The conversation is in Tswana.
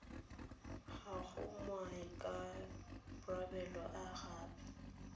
ga go maikarabelo a ape